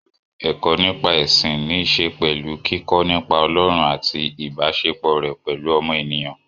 Ẹ̀kọ́ nípa ẹ̀sìn níṣe pẹ̀lú kíkọ́ nípa Ọlọ́run àti ìbáṣepọ̀ rẹ̀ pẹ̀lú ọmọ ènìyàn.